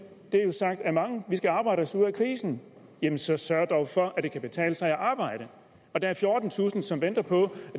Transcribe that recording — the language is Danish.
det er jo sagt af mange vi skal arbejde os ud af krisen jamen så sørg dog for at det kan betale sig at arbejde og der er fjortentusind som venter på